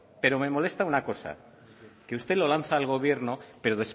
pero me molesta una cosa que usted lo lanza al gobierno pero